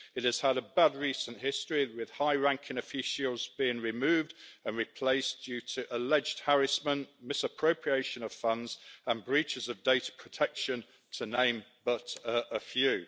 It has had a bad recent history, with high ranking officios being removed and replaced, due to alleged harassment, misappropriation of funds and breaches of data protection, to name but a few.